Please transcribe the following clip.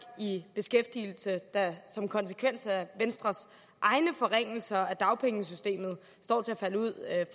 i beskæftigelse der som konsekvens af venstres egne forringelser af dagpengesystemet står til at falde ud af